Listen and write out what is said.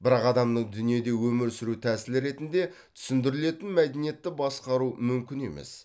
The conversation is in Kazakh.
бірақ адамның дүниеде өмір сүру тәсілі ретінде түсіндірілетін мәдениетті басқару мүмкін емес